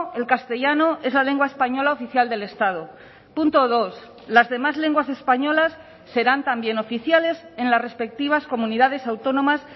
el castellano es la lengua española oficial del estado punto dos las demás lenguas españolas serán también oficiales en las respectivas comunidades autónomas